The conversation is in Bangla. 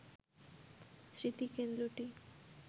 স্মৃতি কেন্দ্রটি